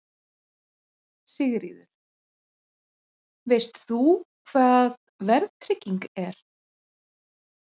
Sigríður: Veist þú hvað verðtrygging er?